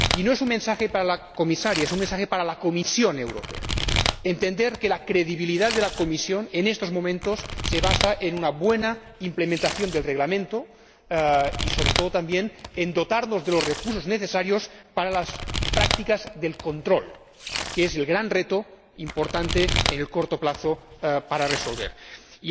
Y no es un mensaje para la Comisaria, es un mensaje para la Comisión Europea, que debe entender que la credibilidad de la Comisión, en estos momentos, se basa en una buena implementación del Reglamento y, sobre todo, también, en dotarnos de los recursos necesarios para las prácticas de control, que es el gran reto importante que hay que resolver en el corto plazo.